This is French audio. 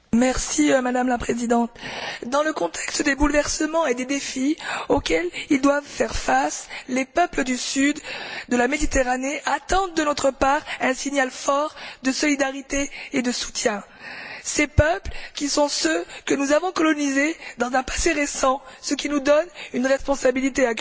Madame la Présidente, dans le contexte des bouleversements et des défis auxquels ils doivent faire face, les peuples du Sud de la Méditerranée attendent de notre part un signal fort de solidarité et de soutien. Ces peuples sont ceux que nous avons colonisés dans un passé récent, ce qui nous confère une responsabilité accrue.